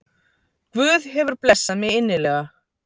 Guð hefur blessað mig innilega